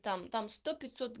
там там сто пятьсот